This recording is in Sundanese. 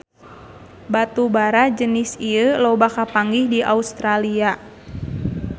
Batu bara jenis ieu loba kapanggih di Australia